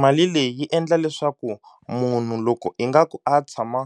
Mali leyi yi endla leswaku munhu loko ingaku a tshama